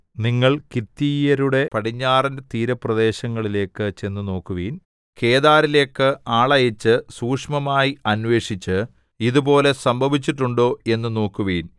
നിങ്ങൾ കിത്തീയരുടെ പടിഞ്ഞാറൻ തീരപ്രദേശങ്ങളിലേക്കു ചെന്നു നോക്കുവിൻ കേദാരിലേക്ക് ആളയച്ച് സൂക്ഷ്മമായി അന്വേഷിച്ച് ഇതുപോലെ സംഭവിച്ചിട്ടുണ്ടോ എന്നു നോക്കുവിൻ